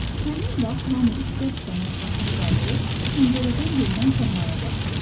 Həmin vaxt hamı istər-istəməz başını qaldırıb pəncərədən görünən səmaya baxdı.